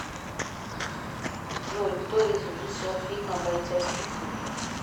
джой кто режиссер фильма бойцовский клуб